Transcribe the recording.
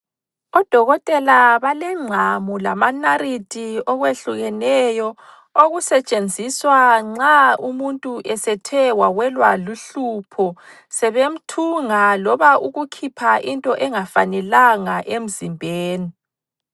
Odokotela balengqamu lama narithi okwehlukeneyo okusetshenziswa nxa umuntu esethe wawelwa luhlupho sebemthunga loba ukukhipha into engafanelanga emzimbeni.